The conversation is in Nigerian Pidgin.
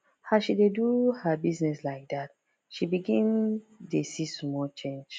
as she dey do her business like that she begin dey see small change